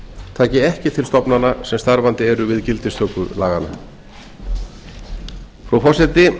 taki ekki til stofnana sem starfandi eru við gildistöku laganna frú forseti